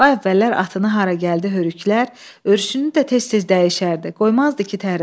Ay əvvəllər atını hara gəldi hörüklər, örüşünü də tez-tez dəyişərdi, qoymazdı ki tərsin.